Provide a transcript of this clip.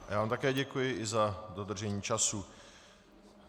Já vám také děkuji, i za dodržení času.